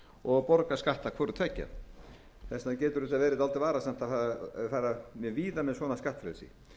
og borga skatt af hvorutveggja þess vegna getur þetta verið dálítið varasamt að fara mjög víða með svona skattfrelsi